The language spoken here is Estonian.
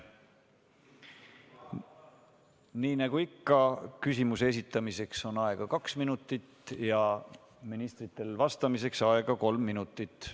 Nii nagu ikka, küsimuse esitamiseks on aega kaks minutit ja ministritel on vastamiseks aega kolm minutit.